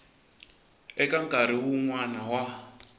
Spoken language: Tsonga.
eka nkarhi wun wana wa